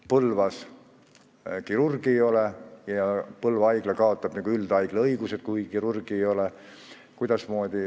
Põlvas kirurgi ei ole ja Põlva Haigla kaotab üldhaigla õigused, kui kirurgi ei ole.